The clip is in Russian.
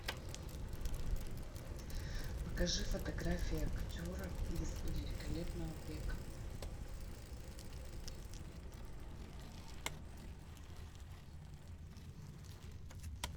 покажи фотографии актеров из великолепного века